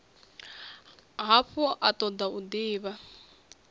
hafhu a toda u divha